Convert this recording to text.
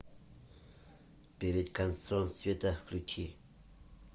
перед концом света включи